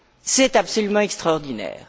C'est absolument extraordinaire.